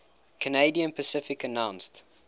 canadian pacific announced